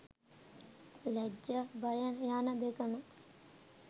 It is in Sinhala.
ලැජ්ජ බය යන දෙකම